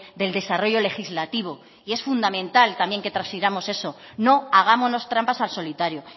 del desarrollo legislativo y es fundamental también que transfiramos eso no hagámonos trampas al solitario